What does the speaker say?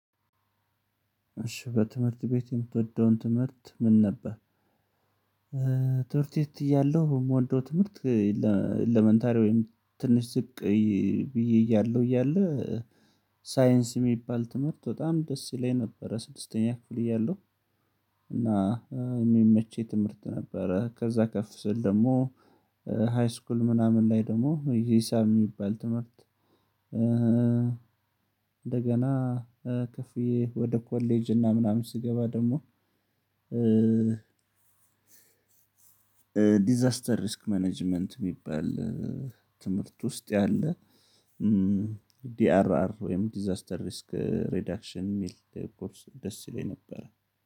እሺ በትምህርት ቤት የምትወደው ትምህርት ምን ነበረ? ትምህርት ቤት እያለሁ የምወደው ትምህርት ትንሽ ዝቅ ብዬ እያለሁ እያለ ሳይንስ የሚባል ትምህርት በጣም ደስ ይለኝ ነበረ። ስድስተኛ ክፍል እያለሁ እና የሚመቸኝ ትምህርት ነበረ። ከዛ ከፍ ስል ደግሞ ሃይስኩል ምናምን ላይ ደግሞ ይሄ ሂሳብ የሚባል ትምህርት እንደገና ከፍዬ ወደ ኮሌጅ እና ምናምን ስገባ ደግሞ ዲዛስተር ሪስክ ማኔጅመንት የሚባል ትምህርት ውስጥ ያለ ዲአርአር ወይም ዲዛስተር ሪስክ ሬዳክሽን የሚል ኮርስ ደስ ይለኝ ነበር።